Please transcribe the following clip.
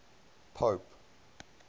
pope